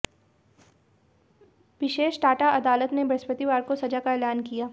विशेष टाडा अदालत ने बृहस्पतिवार को सजा का ऐलान किया